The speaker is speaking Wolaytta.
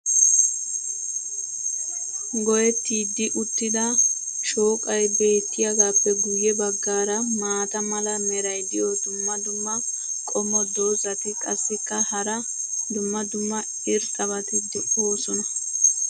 Goyettidi uttida shooqqay beetiyaagaappe guye bagaara maata mala meray diyo dumma dumma qommo dozzati qassikka hara dumma dumma irxxabati doosona.